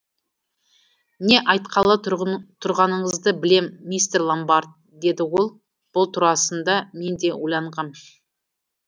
не айтқалы тұрғаныңызды білем мистер ломбард деді ол бұл турасында мен де ойланғам